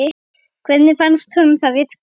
Hvernig fannst honum það virka?